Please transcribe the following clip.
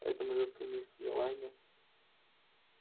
а эта малютка мисс мелани